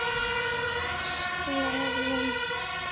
Raunsæ mynd?